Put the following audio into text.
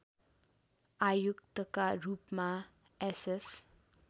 आयुक्तका रूपमा एसएस